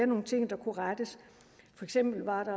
nogle ting der kunne rettes for eksempel var der